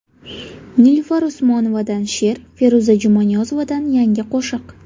Nilufar Usmonovadan she’r, Feruza Jumaniyozovadan yangi qo‘shiq.